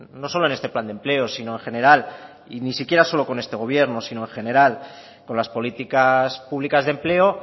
no solo en este plan de empleo sino en general y ni siquiera solo con este gobierno sino en general con las políticas públicas de empleo